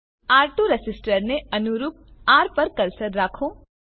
R two રેસીસ્ટરને અનુરૂપ R પર કર્સરને રાખો